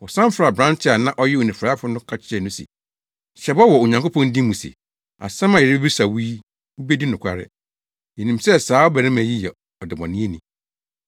Wɔsan frɛɛ aberante a na ɔyɛ onifuraefo no ka kyerɛɛ no se, “Hyɛ bɔ wɔ Onyankopɔn din mu se, asɛm a yɛrebebisa wo yi wubedi nokware. Yenim sɛ saa ɔbarima yi yɛ ɔdebɔneyɛni.”